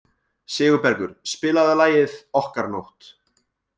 Sigurbergur, spilaðu lagið „Okkar nótt“.